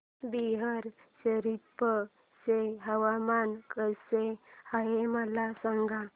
बिहार शरीफ चे हवामान कसे आहे मला सांगा